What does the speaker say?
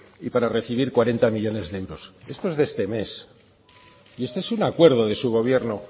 y para recibir cuarenta millónes de euros esto es de este mes y esto es un acuerdo de su gobierno